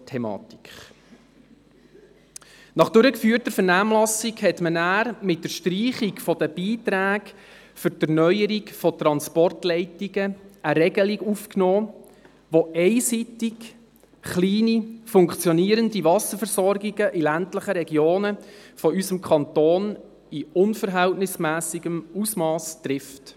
Nach durchgeführter Vernehmlassung nahm man mit der Streichung der Beiträge für die Erneuerung von Transportleitungen eine Regelung auf, die einseitig kleine, funktionierende Wasserversorgungen in ländlichen Regionen unseres Kantons in unverhältnismässigem Ausmass trifft.